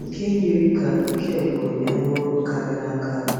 nke yiri ka ike gwụrụ ya na ọrụ karịrị akarị.